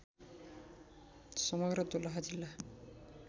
समग्र दोलखा जिल्ला